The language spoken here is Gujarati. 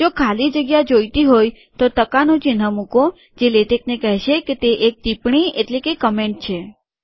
જો ખાલી જગ્યા જોઈતી હોય તો ટકાનું ચિહ્ન મુકો જે લેટેકને કહેશે કે તે એક ટિપ્પણી છે